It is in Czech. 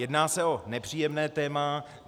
Jedná se o nepříjemné téma.